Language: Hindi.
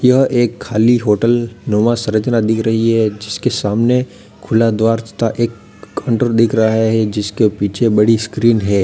यह एक खाली होटल नुमा संरचना दिख रही है जिसके सामने खुला द्वार तथा एक काउंटर दिख रहा है जिसके पीछे बड़ी स्क्रीन है।